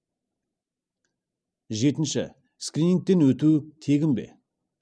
жетінші скринингтен өту тегін бе